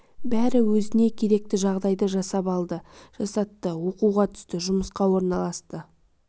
бәрі өзіне керекті жағдайды жасап алды жасатты оқуға түсті жұмысқа орналасты